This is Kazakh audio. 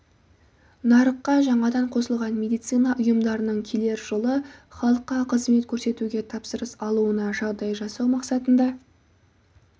нарыққа жаңадан қосылған медицина ұйымдарының келер жылы халыққа қызмет көрсетуге тапсырыс алуына жағдай жасау мақсатында